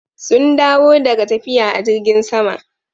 Sun dawo daga tafiya a jirgn sama.